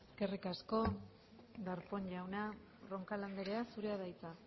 eskerrik asko darpón jauna roncal andrea zurea da hitza